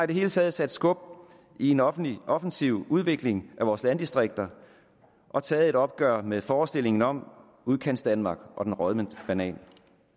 det hele taget sat skub i en offensiv offensiv udvikling af vores landdistrikter og taget et opgør med forestillingen om udkantsdanmark og den rådne banan